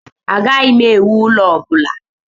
Agaghị m ewu ụlo ọ bula